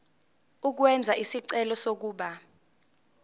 ukwenza isicelo sokuba